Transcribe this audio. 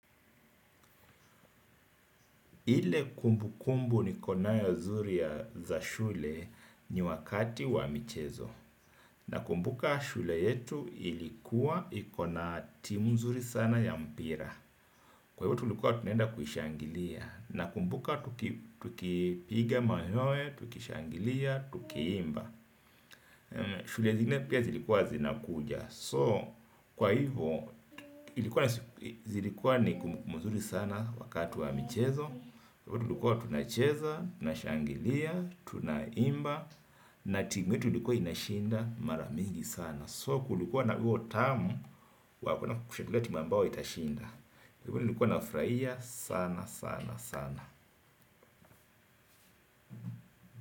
Ile kumbu kumbu niko nayo zuri ya za shule ni wakati wa michezo. Nakumbuka shule yetu ilikuwa ikona timu zuri sana ya mpira. Kwa hivyo tulikuwa tunenda kushangilia. Nakumbuka tukipiga mayowe, tukishangilia, tuki imba. Shule zingine pia zilikuwa zinakuja. So, kwa hivyo, zilikuwa ni kumbukumbu muzuri sana wakati wa michezo. Tulikua tunacheza, tunashangilia, tunaimba. Na timu yetu ilikua inashinda mara mingi sana So kulikua na huo utamu wa kuenda kushangilia timu ambayo itashinda. Kwa hivyo nilikua nafurahia sana sana sana.